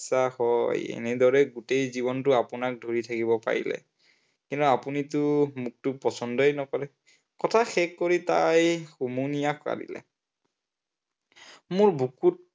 ইচ্ছা হয়, এনেদৰে গোটেই জীৱনটো আপোনাক ধৰি থাকিব পাৰিলে, কিন্তু আপুনিটো মোক পচন্দই নকৰে, কথা শেষ কৰি তাই হুমুনিয়াহ কাঢ়িলে। মোৰ বুকুত